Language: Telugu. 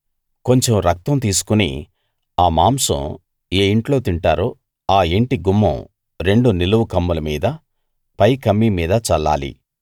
కొంచెం రక్తం తీసుకుని ఆ మాంసం ఏ ఇంట్లో తింటారో ఈ ఇంటి గుమ్మం రెండు నిలువు కమ్ముల మీద పై కమ్మీ మీద చల్లాలి